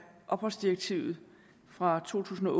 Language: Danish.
opholdsdirektivet fra to tusind og